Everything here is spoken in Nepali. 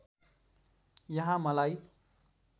यहाँ मलाई